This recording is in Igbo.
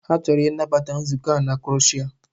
Ha chọrọ ịnabata nzukọ a na Croshia.